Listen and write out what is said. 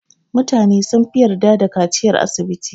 Mutane sunfi yarda da kaciyar asibiti.